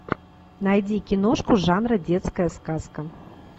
найди киношку жанра детская сказка